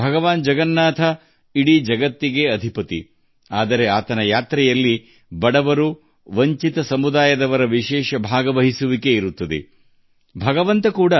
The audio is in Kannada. ಭಗವಾನ್ ಜಗನ್ನಾಥ ಪ್ರಪಂಚದ ಅಧಿಪತಿ ಆದರೆ ಬಡವರು ಮತ್ತು ದೀನ ದಲಿತರು ಅವರ ಪ್ರಯಾಣದಲ್ಲಿ ವಿಶೇಷ ಭಾಗವಹಿಸುವಿಕೆಯನ್ನು ಹೊಂದಿದ್ದಾರೆ